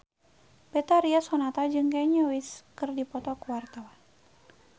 Betharia Sonata jeung Kanye West keur dipoto ku wartawan